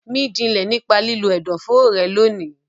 Mí jinlẹ̀ nípa lílo ẹ̀dọ̀foro rẹ lónìí.